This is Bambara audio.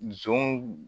Zon